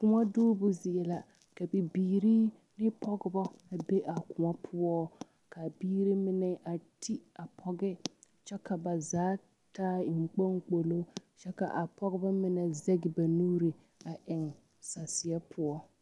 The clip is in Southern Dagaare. Koɔ duubo zie la ka bibirii ne pɔgeba be a koɔ poɔk,a biiri mine a ti a pɔge kyɛ ka ba zaa taa enkponkpolo kyɛ k,a pɔgeba mine zɛge ba nuuri a eŋ sasrɛ poɔ.